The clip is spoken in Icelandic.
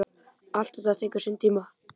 Allt tekur þetta sinn tíma.